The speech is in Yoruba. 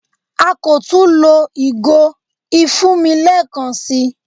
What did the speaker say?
À kọ́ tún lọ̀ igò ifúnmi lẹẹkan sí.